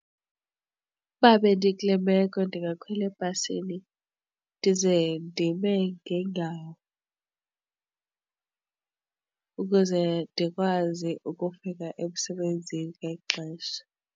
Ukuba bendikule meko ndingakhwela ebhasini ndize ndime ngeenyawo ukuze ndikwazi ukufika emsebenzini ngexesha.